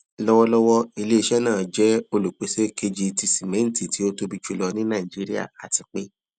lọwọlọwọ ileiṣẹ naa jẹ olupese keji ti simẹnti ti o tobi julọ ni naijiria ati pe